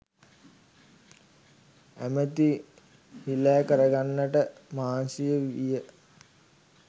ඇමැති හීලෑ කරගන්නට මහන්සි විය